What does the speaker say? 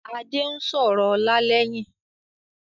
Adé ń sọ̀rọ̀ ọlá lẹ́yìn